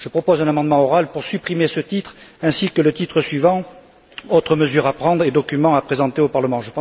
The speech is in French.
Je propose un amendement oral pour supprimer ce titre ainsi que le titre suivant Autres mesures à prendre et documents à présenter au Parlement.